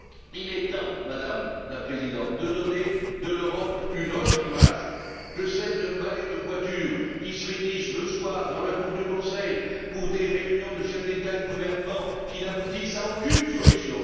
Il est temps, Madame la Présidente, de donner de l'Europe une autre image que celle d'un ballet de voitures qui se réunissent le soir, dans la cour du Conseil, pour des réunions de chefs d'État et de gouvernement qui n'aboutissent à aucune solution.